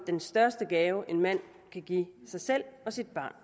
den største gave en mand kan give sig selv og sit barn